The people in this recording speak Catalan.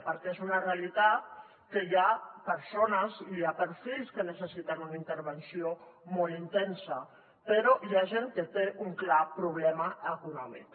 perquè és una realitat que hi ha persones i perfils que necessiten una intervenció molt intensa però hi ha gent que té un clar problema econòmic